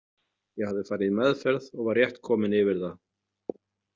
Ég hafði farið í meðferð og var rétt kominn yfir það.